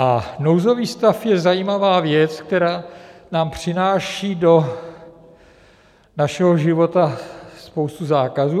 A nouzový stav je zajímavá věc, která nám přináší do našeho života spoustu zákazů.